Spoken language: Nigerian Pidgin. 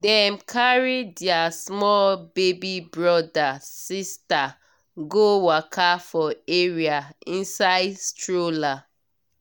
dem carry their small baby brother/sister go waka for area inside stroller